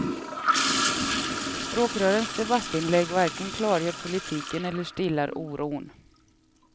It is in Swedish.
Språkrörens debattinlägg varken klargör politiken eller stillar oron.